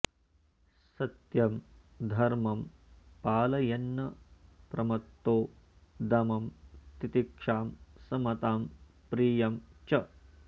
सत्यं धर्मं पालयन्नप्रमत्तो दमं तितिक्षां समतां प्रियं च